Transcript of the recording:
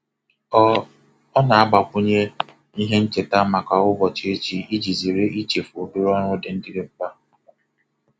Ọ Ọ na-agbakwunye ihe ncheta maka ụbọchị echi iji zere ichefu obere ọrụ ndị dị mkpa.